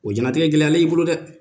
O janatigɛ gɛlɛyalen ye i bolo dɛ